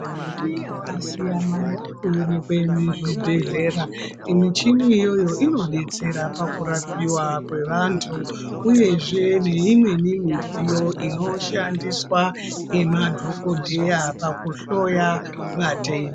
Michini yakasiyana yakuonekwa muzvibhedhlera. Michini iyoyo inodetsera pakurapiwa kwevantu uyezve neimweni midziyo inoshandiswa ngemadhogodheya pakuhloya vatenda.